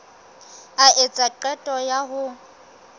a etsa qeto ya ho